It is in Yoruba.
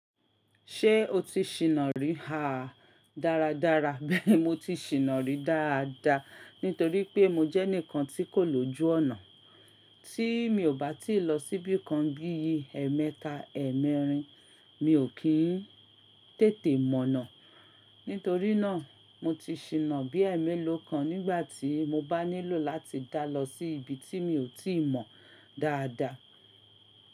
Ṣé o ti ṣìnnà rí ha dáradára? Bẹ́ẹ̀ni mo ti ṣìnnà rí dáadáa nítorí pé mo jẹ́ ẹnìkan tí kò lójú ọ̀nà. Tí mi ò bá ti lọ síbì kan bí i ẹmẹta, ẹ́ẹ̀mẹ́rin, mi ò kí ń tètè mọ̀nà. Nítorí nà, mo ti ṣìnnà bí ẹ́ẹ̀mélòó kan nígbàtí mo bá nílò láti dálọ sí ibi tí mi ò tí mọ̀ dáadáa.